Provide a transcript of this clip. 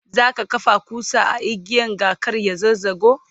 zaka kafa kusa a igiyan ga kar ya zazzago?